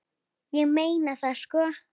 Ég meina það sko.